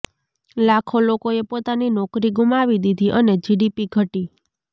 લાખો લોકોએ પોતાની નોકરી ગુમાવી દીધી અને જીડીપી ઘટી